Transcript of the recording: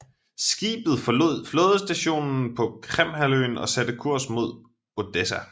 Skibet forlod flådestationen på Krimhalvøen og satte kurs mod Odessa